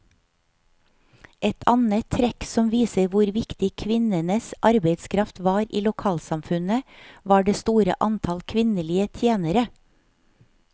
Et annet trekk som viser hvor viktig kvinnenes arbeidskraft var i lokalsamfunnet, var det store antallet kvinnelige tjenere.